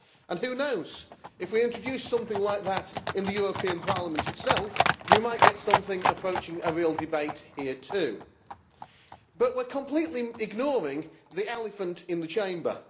And, who knows, if we introduce something like that in the European Parliament itself, we might get something approaching a real debate here too. But we are completely ignoring the elephant in the Chamber.